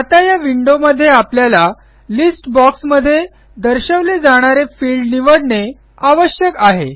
आता या विंडोमध्ये आपल्याला लिस्ट boxमध्ये दर्शवले जाणारे फील्ड निवडणे आवश्यक आहे